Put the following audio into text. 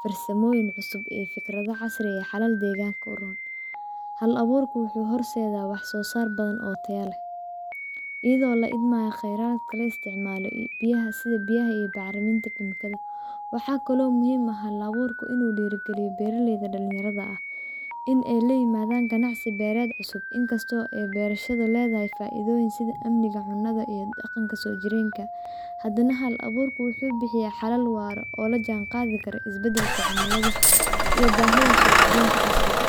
farsamooyin cusub iyo fikrado casiri ah xalal deeganka uroon hal abuurka waxuu horseeda wax soo saar badan oo tayo leh, Iyado la idmaayo kheyraadka la isticmaalo iyo biyaha sida biyaha iyo bacraminta kiimikada waxa kalo muhiim ah hal abuurka inuu dhiiri galiyo beeraleyda dhalinyarada ah in ey la imaadan ganacsi beered cusub inkasto ee beerashada leedahay faaidooyin sida amniga cunada iyo dhaqanka soo jireenka hadana hal abuurkau wuxuu bixiyaa xalal waaro oo lajaan qaadi karo isbadelka cimilada iyo baahida suuq geynta casriga.